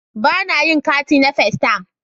Bana yin catin na festayam